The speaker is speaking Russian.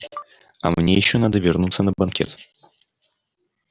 а мне ещё надо вернуться на банкет